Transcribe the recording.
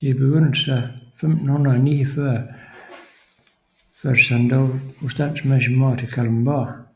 I begyndelsen af 1549 førtes han dog på standsmæssig måde til Kalundborg